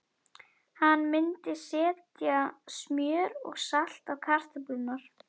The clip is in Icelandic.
Hann myndi setja smjör og salt á kartöflurnar.